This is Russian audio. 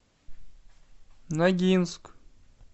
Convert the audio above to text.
ногинск